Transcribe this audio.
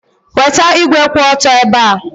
Weta igwe kwụ otu ebe ebe a.